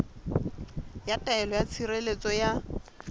ya taelo ya tshireletso ya